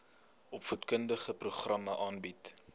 opvoedkundige programme aanbied